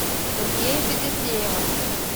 сергея федосеева